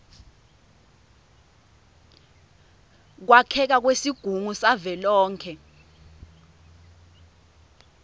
kwakheka kwesigungu savelonkhe